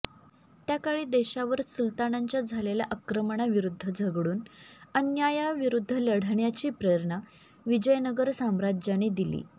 त्या काळी देशावर सुलतानांच्या झालेल्या आक्रमणांविरूद्ध झगडून अन्यायाविरूद्ध लढण्याची प्रेरणा विजयनगर साम्राज्याने दिली